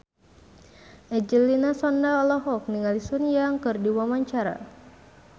Angelina Sondakh olohok ningali Sun Yang keur diwawancara